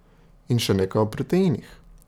In še nekaj o proteinih.